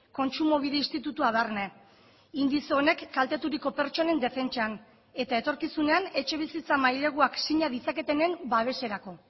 kontsumobide institutua barne indize honek kalteturiko pertsonen defentsan eta etorkizunean etxebizitza maileguak sina ditzaketenen babeserako